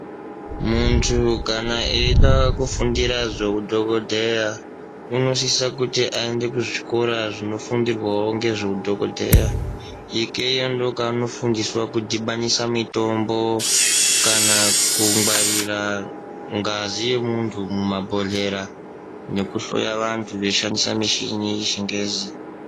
Muntu kana eida kufundira zveudhokodheya unosisa kuti aende kuzvikora zvinofundirwawo ngezveudhokodheya. Ikweyo ndikona kwaanofundiswa kudhibanisa mitombo kana kungwarira ngazi yemuntu mumabhodhlera nekuhloya vantu veishandisa mishini yechingezi.